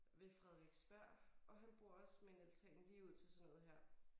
Ved Frederiksberg og han bor også med en altan lige ud til sådan noget her